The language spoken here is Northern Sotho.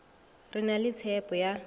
re na le tshepho ya